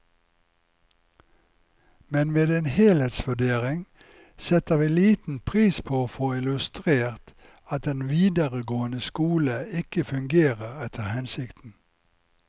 Men ved en helhetsvurdering setter vi liten pris på å få illustrert at den videregående skole ikke fungerer etter hensikten.